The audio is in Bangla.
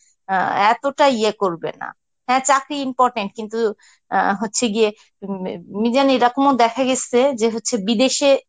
অ্যাঁ এতটা ইয়ে করবে না. হ্যাঁ চাকরি important কিন্তু অ্যাঁ হচ্ছে গিয়ে উম মিজান এরকমও দেখা গেসে যে হচ্ছে বিদেশে